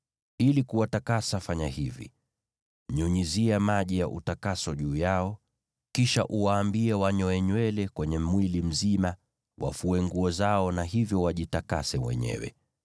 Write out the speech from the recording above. Ili kuwatakasa fanya hivi: Nyunyizia maji ya utakaso juu yao; kisha uwaambie wanyoe nywele kwenye mwili mzima, wafue nguo zao na hivyo wajitakase wenyewe.